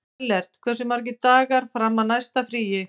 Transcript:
Ellert, hversu margir dagar fram að næsta fríi?